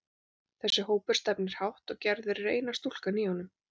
Þessi hópur stefnir hátt, og Gerður er eina stúlkan í honum.